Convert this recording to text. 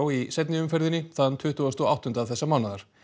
í seinni umferðinni þann tuttugasta og áttunda þessa mánaðar